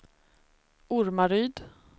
Ormaryd